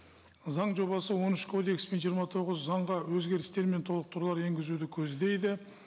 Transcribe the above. заң жобасы он үш кодекс пен жиырма тоғыз заңға өзгерістер мен толықтырулар енгізуді көздейді